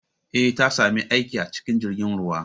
Eh, Ta sami aiki a cikin jirgin ruwa